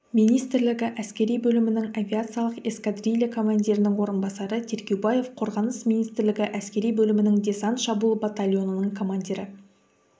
министрлігі әскери бөлімінің авиациялық эскадрилья командирінің орынбасары тергеубаев қорғаныс министрлігі әскери бөлімінің десант-шабуыл батальонының командирі